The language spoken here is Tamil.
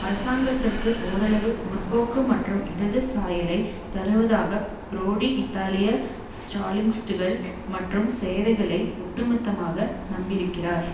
அரசாங்கத்திற்கு ஓரளவு முற்போக்கு மற்றும் இடது சாயலை தருவதற்காக பிரோடி இத்தாலிய ஸ்ராலினிஸ்ட்டுகள் மற்றும் சேவைகளை ஒட்டுமொத்தமாக நம்பியிருக்கிறார்